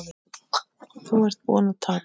Þú ert búinn að tapa